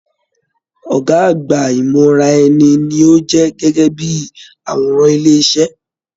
Ọgá àgbà imọraẹ̀ni ní o jẹ gẹgẹ bíi àwòrán ilé iṣẹ.